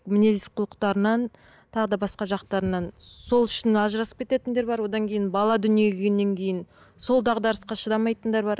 мінез құлықтарынан тағы да басқа жақтарынан сол үшін ажырасып кететіндер бар одан кейін бала дүниеге келгеннен кейін сол дағдарысқа шыдамайтындар бар